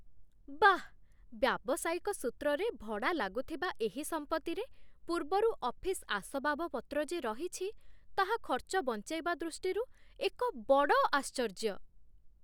ବାଃ! ବ୍ୟାବସାୟିକ ସୂତ୍ରରେ ଭଡ଼ା ଲାଗୁଥିବା ଏହି ସମ୍ପତ୍ତିରେ ପୂର୍ବରୁ ଅଫିସ୍ ଆସବାବପତ୍ର ଯେ ରହିଛି, ତାହା ଖର୍ଚ୍ଚ ବଞ୍ଚେଇବା ଦୃଷ୍ଟିରୁ ଏକ ବଡ଼ ଆଶ୍ଚର୍ଯ୍ୟ!